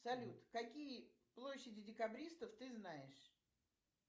салют какие площади декабристов ты знаешь